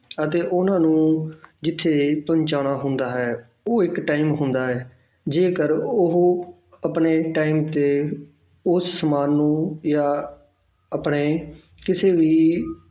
ਅਤੇ ਉਹਨਾਂ ਨੂੰ ਜਿੱਥੇ ਇਹ ਪਹੁੰਚਾਉਣਾ ਹੁੰਦਾ ਹੈ ਉਹ ਇੱਕ time ਹੁੰਦਾ ਹੈ ਜੇਕਰ ਉਹ ਆਪਣੇ time ਤੇ ਉਸ ਸਮਾਨ ਨੂੰ ਜਾਂ ਆਪਣੇ ਕਿਸੇ ਵੀ